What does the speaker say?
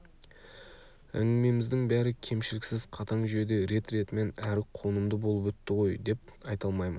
әңгімеміздің бәрі кемшіліксіз қатаң жүйеде рет-ретімен әрі қонымды болып өтті ғой деп айта алмаймын